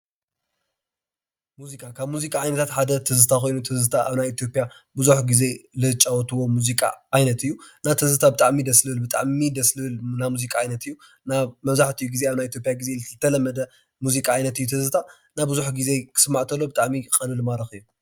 ሙዚቃ፦ ካብ ሙዚቃ ዓይነታት ሓደ ትዝታ ኮይኑ አብ ኢትዮጵያ ብዙሕ ግዜ ዘጫውትዎ ሙዚቃ ዓይነት እዩ። እና ትዝታ ብጣዕሚ እዩ ደስ ዝብል ብጣዕሚ ደስ ዝብል ናይ ሙዚቃ ዓይነት እዩ። መብዛሕትኡ ግዜ አብ ናይ ኢትዮጵያ ግዜ ዝተለመደ ሙዚቃ ዓይነት እዩ። ትዝታ እና ብዙሕ ጊዜ ክስማዕ ከሎ ብጣዕሚ እዩ ቀሊል ማራኪ እዩ።